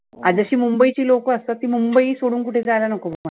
जशी मुंबईची लोकंं असतात ती मुंबई सोडुन कुठे जायला नको